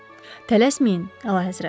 Tələsməyin, əlahəzrət.